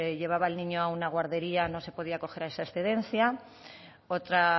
llevaba al niño a una guardería no se podía coger esa excedencia otra